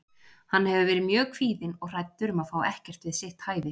Hann hefur verið mjög kvíðinn og hræddur um að fá ekkert við sitt hæfi.